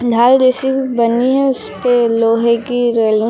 ढाल जैसी बनी है उसपे लोहे की रेलिंग --